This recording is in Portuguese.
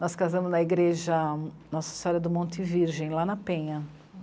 Nós casamos na igreja Nossa Senhora do Monte Virgem, lá na Penha.